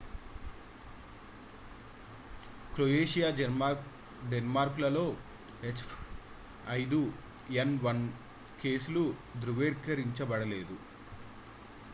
croatia denmark‌లలో h5n1 కేసులు ధృవీకరించబడలేదు